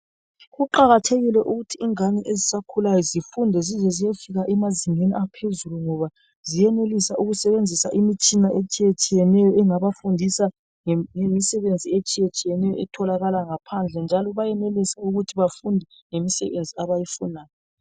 Kuqakathekile ukuthi ingane ezisakhulayo zifunde zize ziyefika emazingeni aphezulu ngoba ziyenelisa ukusebenzisa imitshina etshiyetshiyeneyo engabafundisa ngemisebenzi etshiyetshiyeneyo etholakala ngaphandle njalo benelisa ukuthi befunde ngemisebenzi abayifunayo.